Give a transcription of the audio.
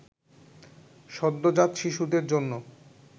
সদ্যোজাত শিশুদের জন্য